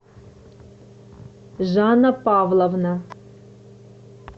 жанна павловна